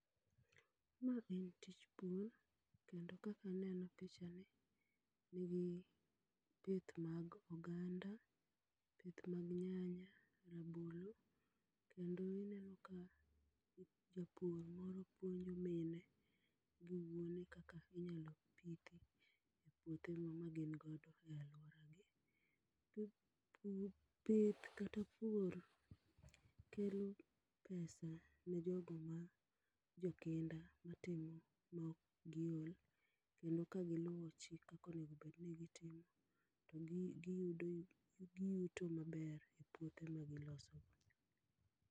Ma en tich pur kendo kaka aneno pichani nigi pith mag oganda, pith mag nyanya, rabolo kendo ineno ka japur moro puonjo mine gi wuone kaka inyalo pithi e puothe magin go e aluor agi. Pur, pith kata pur kelo pesa ne jogo mar jokinda matimo maok giol kendo kagiluo chik kakaonego bed ni gitimo to giyuto maber e puothe magiloso